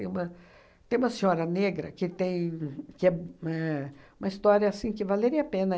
Tem uma tem uma senhora negra que tem que é éh uma história que valeria a pena.